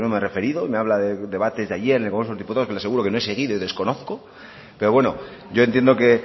he referido y me habla de debates de ayer en el congreso de los diputados que le aseguro que no he seguido y desconozco pero bueno yo entiendo que